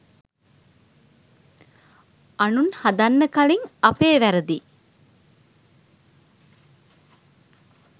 අනුන් හදන්න කලින් අපේ වැරදි